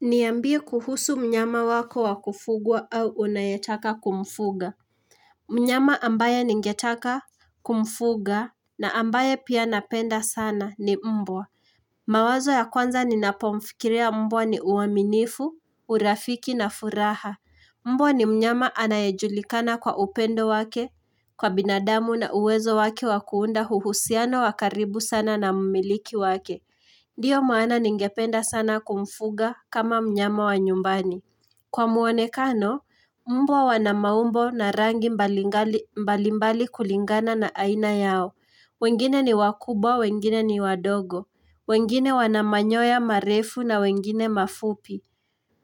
Niambie kuhusu mnyama wako wakufugwa au unayetaka kumfuga mnyama ambaye ningetaka kumfuga na ambaye pia napenda sana ni mbwa mawazo ya kwanza ninapo mfikiria mbwa ni uaminifu, urafiki na furaha. Mbwa ni mnyama anayejulikana kwa upendo wake Kwa binadamu na uwezo wake wa kuunda uhusiano wa karibu sana na mmiliki wake. Ndiyo maana ningependa sana kumfuga kama mnyama wa nyumbani. Kwa muonekano, mbwa wana maumbo na rangi mbalimbali kulingana na aina yao. Wengine ni wakubwa, wengine ni wadogo. Wengine wana manyoya marefu na wengine mafupi.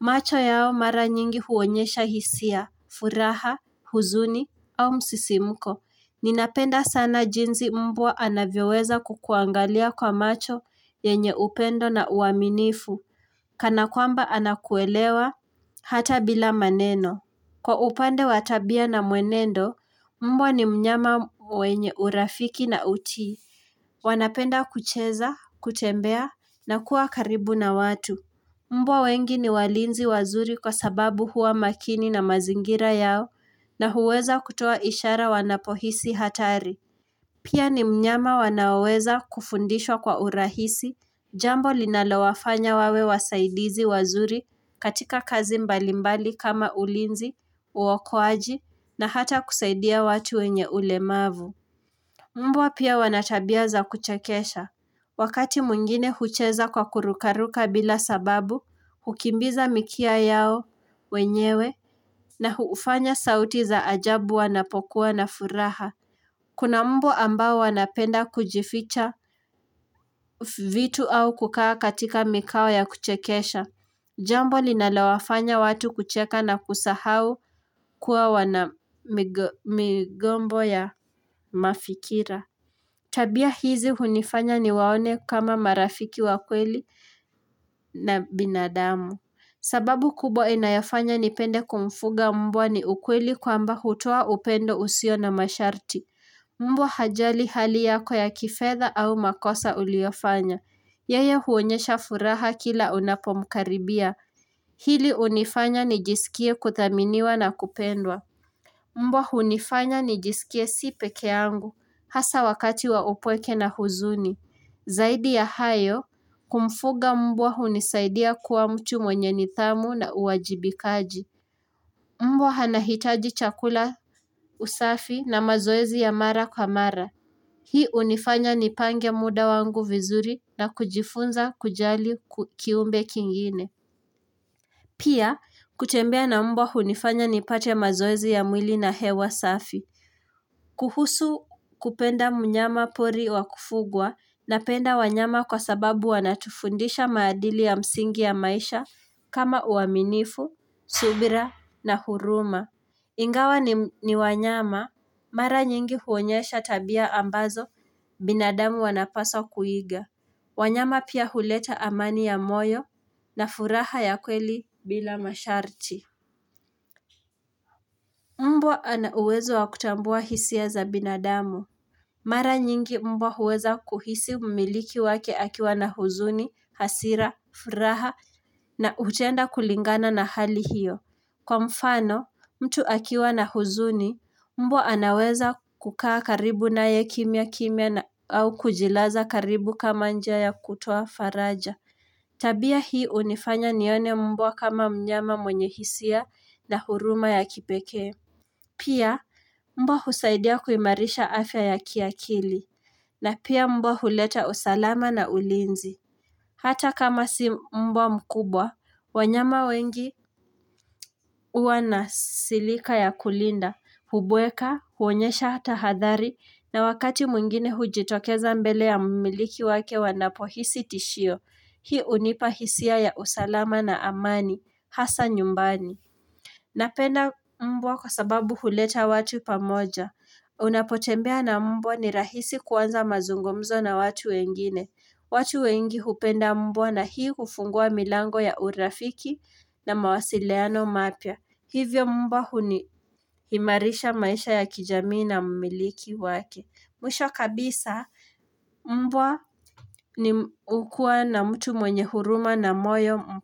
Macho yao mara nyingi huonyesha hisia, furaha, huzuni au msisimko. Ninapenda sana jinsi mbwa anavyoweza kukuangalia kwa macho yenye upendo na uaminifu. Kana kwamba anakuelewa hata bila maneno. Kwa upande wa tabia na mwenendo, mbwa ni mnyama mwenye urafiki na utii. Wanapenda kucheza, kutembea na kuwa karibu na watu. Mbwa wengi ni walinzi wazuri kwa sababu huwa makini na mazingira yao na huweza kutoa ishara wanapohisi hatari. Pia ni mnyama wanaoweza kufundishwa kwa urahisi, jambo linalawafanya wawe wasaidizi wazuri katika kazi mbalimbali kama ulinzi, uokoaji na hata kusaidia watu wenye ulemavu. Mbwa pia wanatabia za kuchakesha. Wakati mwigine hucheza kwa kurukaruka bila sababu, hukimbiza mikia yao, wenyewe, na hufanya sauti za ajabu wanapokuwa na furaha. Kuna mbwa ambao wanapenda kujificha vitu au kukaa katika mikao ya kuchekesha. Jambo linalawafanya watu kucheka na kusahau kuwa wanamigombo ya mafikira. Tabia hizi hunifanya ni waone kama marafiki wa kweli na binadamu. Sababu kubwa inayofanya nipende kumfuga mbwa ni ukweli kwamba hutoa upendo usio na masharti. Mbwa hajali hali yako ya kifedha au makosa uliyofanya. Yeye huonyesha furaha kila unapo mkaribia. Hili hunifanya nijisikie kuthaminiwa na kupendwa. Mbwa hunifanya nijisikie si peke yangu. Hasa wakati wa upweke na huzuni. Zaidi ya hayo, kumfuga mbwa hunisaidia kuwa mtu mwenye nidhamu na uwajibikaji. Mbwa anahitaji chakula usafi na mazoezi ya mara kwa mara. Hii hunifanya nipange muda wangu vizuri na kujifunza kujali kiumbe kingine. Pia, kutembea na mbwa hunifanya nipate mazoezi ya mwili na hewa safi. Kuhusu kupenda mnyamapori wakufugwa napenda wanyama kwa sababu wanatufundisha maadili ya msingi ya maisha kama uaminifu, subira na huruma. Ingawa ni wanyama, mara nyingi huonyesha tabia ambazo binadamu wanapaswa kuiga. Wanyama pia huleta amani ya moyo na furaha ya kweli bila masharti. Mbwa anauwezo wa kutambua hisia za binadamu. Mara nyingi mbwa huweza kuhisi mmiliki wake akiwa na huzuni, hasira, furaha na hutenda kulingana na hali hiyo. Kwa mfano, mtu akiwa na huzuni, mbwa anaweza kukaa karibu naye kimya kimya au kujilaza karibu kama njia ya kutoa faraja. Tabia hii hunifanya nione mbwa kama mnyama mwenye hisia na huruma ya kipekee. Pia mbwa husaidia kuimarisha afya ya kiakili na pia mbwa huleta usalama na ulinzi Hata kama si mbwa mkubwa wanyama wengi huwa na silika ya kulinda Hubweka, huonyesha tahadhari na wakati mwngine hujitokeza mbele ya mmiliki wake wanapohisi tishio Hii hunipa hisia ya usalama na amani, hasa nyumbani. Napenda mbwa kwa sababu huleta watu pamoja. Unapotembea na mbwa ni rahisi kuanza mazungumzo na watu wengine. Watu wengi hupenda mbwa na hii hufungua milango ya urafiki na mawasiliano mapya Hivyo mbwa huni imarisha maisha ya kijamii na mmiliki wake. Mwisho kabisa mbwa ni hukua na mtu mwenye huruma na moyo.